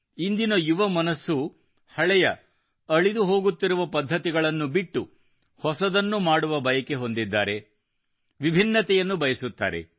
ಇಂದಿನ ಯುವ ಮನಸ್ಸು ಹಳೆಯ ಅಳಿದು ಹೋಗುತ್ತಿರುವ ಪದ್ಧತಿಗಳನ್ನು ಬಿಟ್ಟು ಹೊಸದನ್ನು ಮಾಡುವ ಬಯಕೆ ಹೊಂದಿದ್ದಾರೆ ವಿಭಿನ್ನತೆಯನ್ನು ಬಯಸುತ್ತಾರೆ